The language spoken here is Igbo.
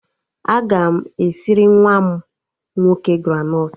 Aga m esiri nwa m nwoke granọt